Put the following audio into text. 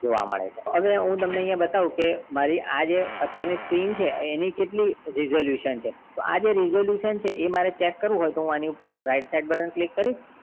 જોવા મળે છે અને અહિયાં હું તમને બતાવું કે મારી જે આ અત્યાર ની જે screen છે એની કેટલી resolution છે તો આ જે resolution છે એ મારે shake કરવું હોય તો હું આની ઉપર right side button click કરીશ